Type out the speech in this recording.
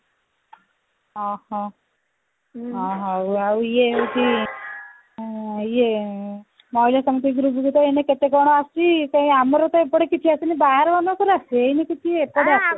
ଅହହୋ ହଉ ଆଉ ଇଏ ହଉଛି ଆଁ ଇଏ ମହିଳା ସମିତି group ରେ ଏଇନା କେତେ କଣ ଆସୁଛି କାଇଁ ଆମର ତ ଏପଟେ କିଛି ଆସିନି ବାହାର ମାନଙ୍କର ଆସିଛି ଏଇନା କିଛି ଏପଟ ଆସୁନି